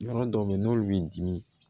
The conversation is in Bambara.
Yɔrɔ dɔw bɛ yen n'olu bɛ n dimi